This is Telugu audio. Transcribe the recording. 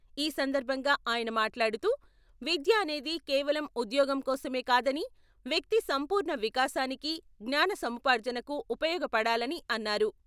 ఈ సందర్భంగా ఆయన మాట్లాడుతూ విద్య అనేది కేవలం ఉద్యోగం కోసమే కాదని వ్యక్తి సంపూర్ణ వికాసానికి, జ్ఞానసముపార్జనకు ఉపయోగపడాలని అన్నారు.